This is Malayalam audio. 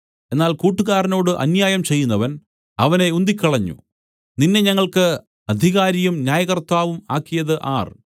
എന്നാൽ കൂട്ടുകാരനോട് അന്യായം ചെയ്യുന്നവൻ അവനെ ഉന്തിക്കളഞ്ഞു നിന്നെ ഞങ്ങൾക്ക് അധികാരിയും ന്യായകർത്താവും ആക്കിയത് ആർ